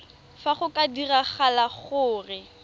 fa go ka diragala gore